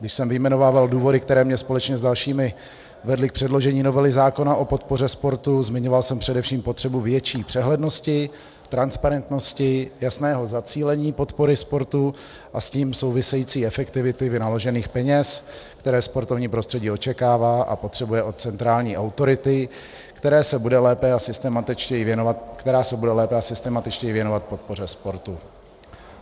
Když jsem vyjmenovával důvody, které mě společně s dalšími vedly k předložení novely zákona o podpoře sportu, zmiňoval jsem především potřebu větší přehlednosti, transparentnosti, jasného zacílení podpory sportu a s tím související efektivity vynaložených peněz, které sportovní prostředí očekává a potřebuje od centrální autority, která se bude lépe a systematičtěji věnovat podpoře sportu.